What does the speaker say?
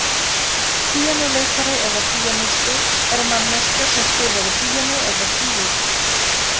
Píanóleikari eða píanisti er manneskja sem spilar á píanó eða flygil.